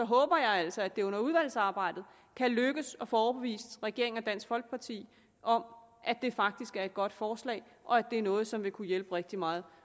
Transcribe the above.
håber jeg altså at det under udvalgsarbejdet kan lykkes også at få overbevist regeringen og dansk folkeparti om at det faktisk er et godt forslag og at det er noget som vil kunne hjælpe rigtig meget